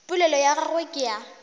polelo ya gagwe ke ya